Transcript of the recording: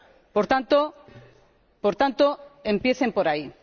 Por tanto, empiecen por ahí.